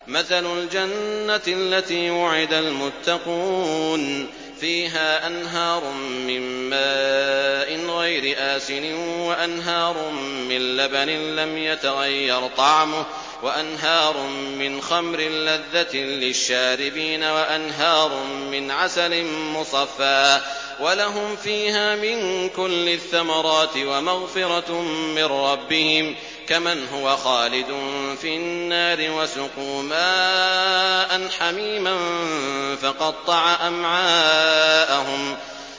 مَّثَلُ الْجَنَّةِ الَّتِي وُعِدَ الْمُتَّقُونَ ۖ فِيهَا أَنْهَارٌ مِّن مَّاءٍ غَيْرِ آسِنٍ وَأَنْهَارٌ مِّن لَّبَنٍ لَّمْ يَتَغَيَّرْ طَعْمُهُ وَأَنْهَارٌ مِّنْ خَمْرٍ لَّذَّةٍ لِّلشَّارِبِينَ وَأَنْهَارٌ مِّنْ عَسَلٍ مُّصَفًّى ۖ وَلَهُمْ فِيهَا مِن كُلِّ الثَّمَرَاتِ وَمَغْفِرَةٌ مِّن رَّبِّهِمْ ۖ كَمَنْ هُوَ خَالِدٌ فِي النَّارِ وَسُقُوا مَاءً حَمِيمًا فَقَطَّعَ أَمْعَاءَهُمْ